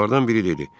Onlardan biri dedi: